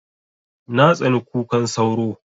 Na tsani kukan sauro